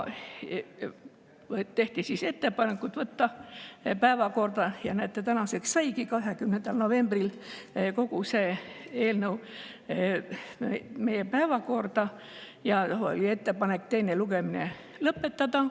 Tehti ettepanek võtta eelnõu päevakorda – ja näete, saigi tänaseks – 20. novembril ja teha ettepanek teine lugemine lõpetada.